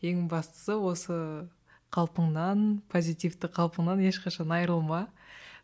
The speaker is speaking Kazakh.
ең бастысы осы қалпыңнан позитивті қалпыңнан ешқашан айырылма